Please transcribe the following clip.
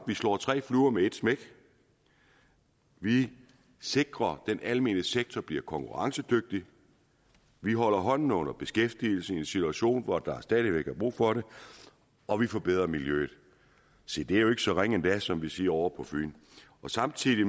vi slår tre fluer med et smæk vi sikrer den almene sektor bliver konkurrencedygtig vi holder hånden under beskæftigelsen i en situation hvor der stadig væk er brug for det og vi forbedrer miljøet se det er jo ikke så ringe endda som vi siger ovre på fyn og samtidig